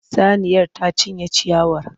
Saniyar ta cinye ciyawar.